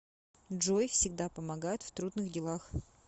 джой всегда помогает в трудных делах